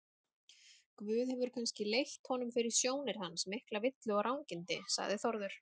Guð hefur kannski leitt honum fyrir sjónir hans miklu villu og rangindi, sagði Þórður.